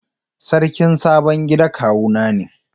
Sarkin sabon gida kawu na ne.